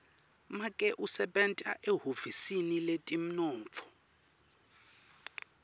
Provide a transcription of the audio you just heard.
make usebenta ehhovisi letemnotfo